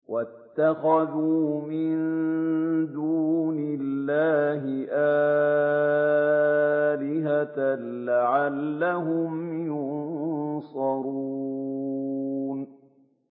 وَاتَّخَذُوا مِن دُونِ اللَّهِ آلِهَةً لَّعَلَّهُمْ يُنصَرُونَ